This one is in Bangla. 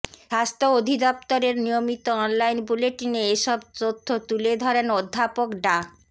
স্বাস্থ্য অধিদফতরের নিয়মিত অনলাইন বুলেটিনে এসব তথ্য তুলে ধরেন অধ্যাপক ডা